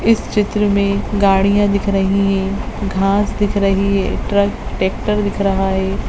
इस चित्र में गाड़ियाँ दिख रही हैं घांस दिख रही है ट्रक ट्रेक्टर दिख रहा है।